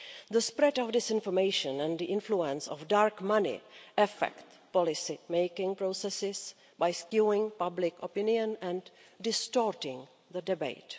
The spread of disinformation and the influence of dark money affect policymaking processes by skewing public opinion and distorting the debate.